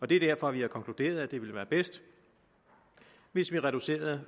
det er derfor vi har konkluderet at det ville være bedst hvis vi reducerede